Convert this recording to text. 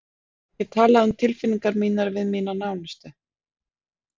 Ég get talað um tilfinningar mínar við mína nánustu.